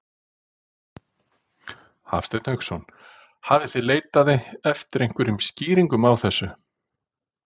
Hafsteinn Hauksson: Hafið þið leitað eftir einhverjum skýringum á þessu?